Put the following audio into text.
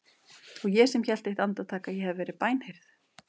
Og ég sem hélt eitt andartak að ég hefði verið bænheyrð!